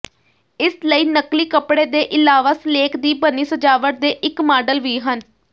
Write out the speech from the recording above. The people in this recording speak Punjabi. ਇਸ ਲਈ ਨਕਲੀ ਕਪੜੇ ਦੇ ਇਲਾਵਾ ਸਲੇਕ ਦੀ ਬਣੀ ਸਜਾਵਟ ਦੇ ਇੱਕ ਮਾਡਲ ਵੀ ਹਨ